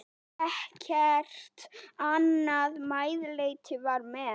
Ekkert annað meðlæti var með.